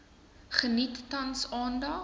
geniet tans aandag